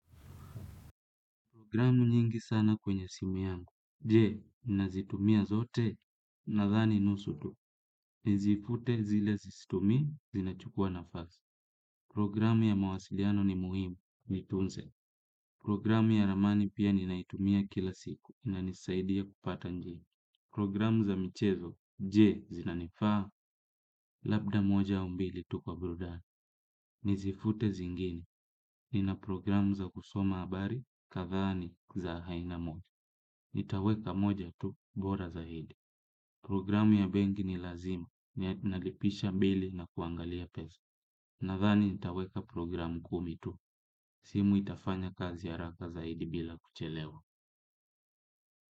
Programu nyingi sana kwenye simu yangu. Jee, nazitumia zote nadhani nusu tu. Nizifute zile sizitumi, zinachukua nafasi. Programu ya mawasiliano ni muhimu, nitunze. Programu ya ramani pia ninaitumia kila siku, inanisaidia kupata njia. Programu za michezo, je zinanifaa, labda moja au mbili tu kwa burudani. Nizifute zingine nina programu za kusoma habari, kadhani za haina moja. Nitaweka moja tu, bora zaidi programu ya benki ni lazima nalipisha bili na kuangalia pesa nadhani nitaweka programu kumi tu simu itafanya kazi haraka zaidi bila kuchelewa.